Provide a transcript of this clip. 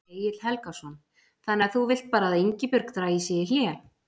Egill Helgason: Þannig að þú vilt bara að Ingibjörg dragi sig í hlé?